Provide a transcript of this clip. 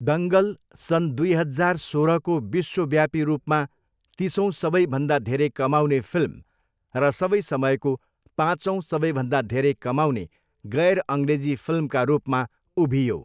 दङ्गल सन् दुई हजार सोह्रको विश्वव्यापी रूपमा तिसौँ सबैभन्दा धेरै कमाउने फिल्म र सबै समयको पाँचौँ सबैभन्दा धेरै कमाउने गैर अङ्ग्रेजी फिल्मका रूपमा उभियो।